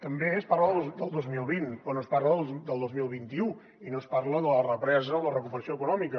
també es parla del dos mil vint però no es parla del dos mil vint u i no es parla de la represa o la recuperació econòmica